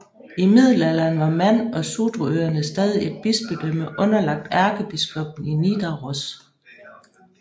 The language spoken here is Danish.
I middelalderen var Man og Sudrøerne stadig et bispedømme underlagt ærkebiskoppen i Nidaros